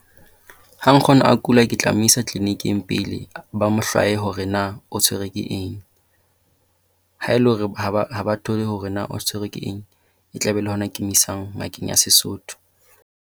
Ha nkgono a kula ke tla mo isa tleliniking pele ba mo hlwae hore na o tshwerwe ke eng. Ha e le hore ha ha ba thole hore na o tshwerwe ke eng, e tla be le hona ke mo isang ngakeng ya Sesotho.